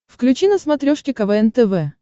включи на смотрешке квн тв